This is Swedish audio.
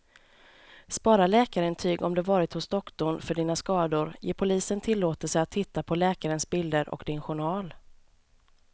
Spara läkarintyg om du varit hos doktorn för dina skador, ge polisen tillåtelse att titta på läkarens bilder och din journal.